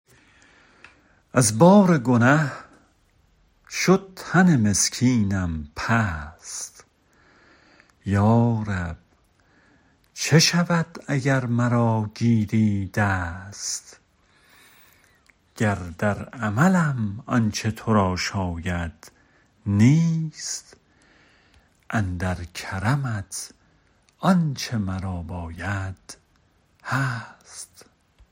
از بار گنه شد تن مسکینم پست یا رب چه شود اگر مرا گیری دست گر در عملم آنچه تو را شاید نیست اندر کرمت آنچه مرا باید هست